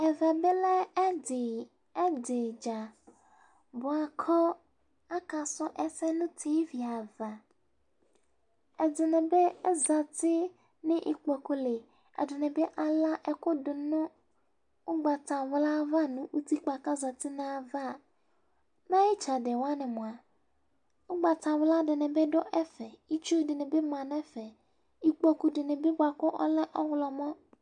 Ɛvɛ bi lɛ ɛdi dza buaku aka suɛsɛ nu tʋ ava ɛdini bi azati nu ikpokuli ɛdini bi ala ɛkúdi nu ugbatawla ava nu utikpa kazati nayava me ayu itsɛdi wani ugbatawla dinibi duɛƒɛ itsu dini bi du ɛfɛikpoku dini kalɛ oɣomɔ